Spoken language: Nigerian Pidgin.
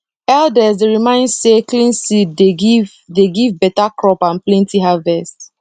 elders dey remind say clean seed dey give dey give better crop and plenty harvest